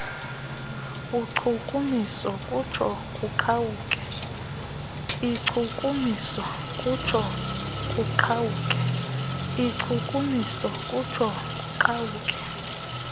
inkcukumiso kutsho kuqhawuke